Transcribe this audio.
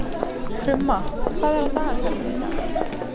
Krumma, hvað er á dagatalinu í dag?